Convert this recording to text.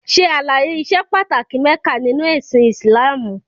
Ṣè alàye ìṣè pàtàkì Mekka nínu ẹ̀sìn Islamú!